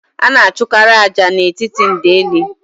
A na achụkarị ájá n'etiti ndeli